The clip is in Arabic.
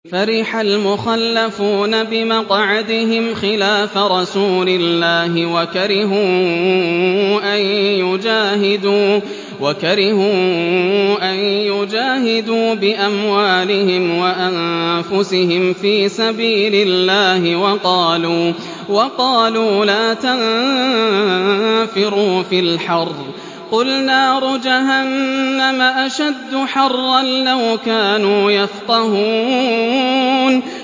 فَرِحَ الْمُخَلَّفُونَ بِمَقْعَدِهِمْ خِلَافَ رَسُولِ اللَّهِ وَكَرِهُوا أَن يُجَاهِدُوا بِأَمْوَالِهِمْ وَأَنفُسِهِمْ فِي سَبِيلِ اللَّهِ وَقَالُوا لَا تَنفِرُوا فِي الْحَرِّ ۗ قُلْ نَارُ جَهَنَّمَ أَشَدُّ حَرًّا ۚ لَّوْ كَانُوا يَفْقَهُونَ